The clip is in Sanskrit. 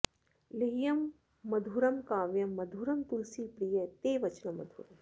लेह्यं मधुरं काव्यं मधुरं तुलसीप्रिय ते वचनं मधुरम्